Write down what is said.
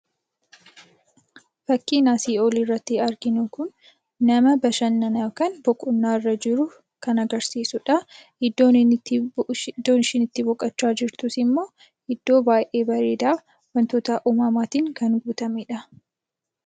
Fakkiin asii olii irratti arginu kun nama bashannanaa kan boqonnaa irra jiru kan agarsiisudha. Iddoon inni itti, iddoo ishiin itti boqochaa jirtus immoo iddoo baay'ee bareedaa, wantoota uumaatiin kan guutamedha.